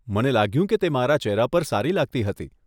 મને લાગ્યું કે તે મારા ચેહરા પર સારી લાગતી હતી.